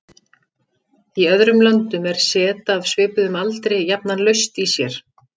Í öðrum löndum er set af svipuðum aldri jafnan laust í sér.